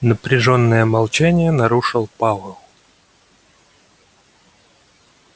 напряжённое молчание нарушил пауэлл